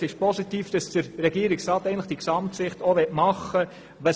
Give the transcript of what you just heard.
Es ist positiv, dass der Regierungsrat diese Gesamtsicht auch vornehmen will.